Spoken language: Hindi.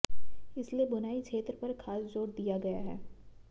इसलिए बुनाई क्षेत्र पर खास जोर दिया गया है